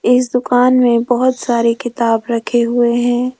इस दुकान में बहोत सारी किताब रखे हुए है।